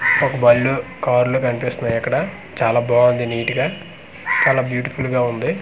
ఒక బాలు కార్లు కనిపిస్తున్నాయి అక్కడ చాలా బాగుంది నిట్ గా చాలా బ్యూటిఫుల్ గా ఉంది.